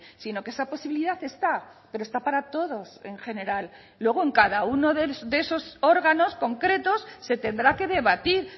sino que esa posibilidad está pero está para todos en general luego en cada uno de esos órganos concretos se tendrá que debatir